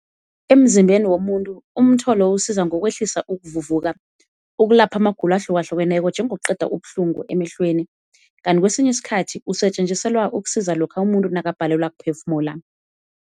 Emzimbeni womuntu umtholo usiza ngokwehlisa ukuvuvuka, ukulapha amagulo ahlukahlukeneko njengokuqeda ubuhlungu emehlweni. Kanti kwesinye isikhathi usetjenziselwa ukusiza lokha umuntu nakabhalelwa kuphefumula.